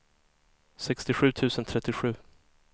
sextiosju tusen trettiosju